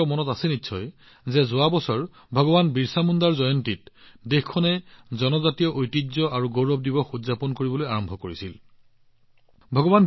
আপোনালোকৰ মনত আছে ভগৱান বিৰচা মুণ্ডাৰ জন্ম জয়ন্তীত জনজাতীয় ঐতিহ্য আৰু গৌৰৱ উদযাপন কৰিবলৈ দেশখনে যোৱা বছৰৰ পৰা এয়া আৰম্ভ কৰিছিল